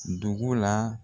Dugu la